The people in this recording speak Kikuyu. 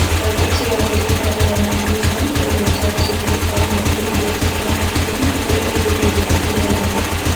Ngathĩti ya thirikari ya New Vision yoigĩte atĩ thirikari nĩ ĩhingĩtie kĩrafu kĩu nĩguo ũhuthuria ũkinyanire.